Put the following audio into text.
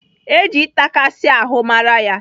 Eji ịtakasị ahụ mara ya?